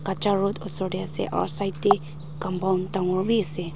kaccha road oser dey asi aru side te compound dangor bi ase.